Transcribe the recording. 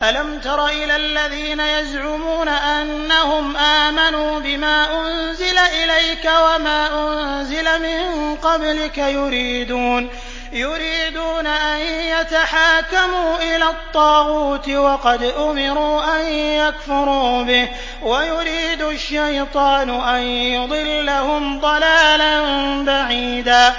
أَلَمْ تَرَ إِلَى الَّذِينَ يَزْعُمُونَ أَنَّهُمْ آمَنُوا بِمَا أُنزِلَ إِلَيْكَ وَمَا أُنزِلَ مِن قَبْلِكَ يُرِيدُونَ أَن يَتَحَاكَمُوا إِلَى الطَّاغُوتِ وَقَدْ أُمِرُوا أَن يَكْفُرُوا بِهِ وَيُرِيدُ الشَّيْطَانُ أَن يُضِلَّهُمْ ضَلَالًا بَعِيدًا